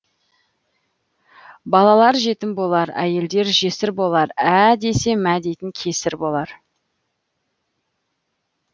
балалар жетім болар әйелдер жесір болар ә десе мә дейтін кесір болар